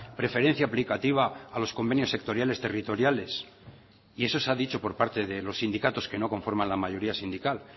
preferencia aplicativa a los convenios sectoriales territoriales y eso se ha dicho por parte de los sindicatos que no conforman la mayoría sindical